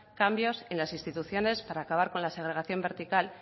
cambios en las instituciones para acabar con la segregación vertical